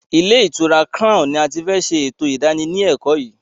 Ilé ìtura crown ní a tí fẹ́ ṣe ètò ìdánilékòó yìí.